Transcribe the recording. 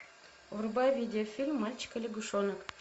врубай видеофильм мальчик и лягушонок